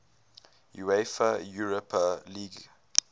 uefa europa league